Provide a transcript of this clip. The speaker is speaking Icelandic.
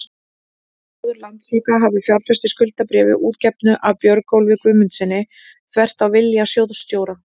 að sjóður Landsvaka hafi fjárfest í skuldabréfi útgefnu af Björgólfi Guðmundssyni, þvert á vilja sjóðsstjóra?